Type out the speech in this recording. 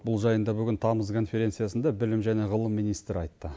бұл жайында бүгін тамыз конференциясында білім және ғылым министрі айтты